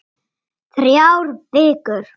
Þrjár vikur.